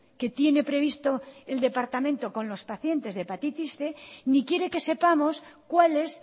que tiene previsto el departamento con los pacientes de hepatitis cien ni quiere que sepamos cuál es